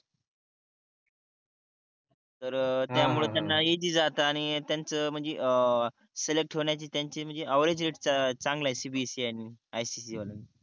तर त्यामुळे त्यांना इजी जात आणि त्यांच म्हणजे अं सिलेक्ट होण्याचे त्यांचे म्हणजे एव्हरेज रेट चांगला आहे CBSE आणि ICSE ाल्यांचा